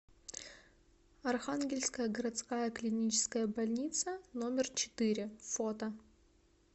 архангельская городская клиническая больница номер четыре фото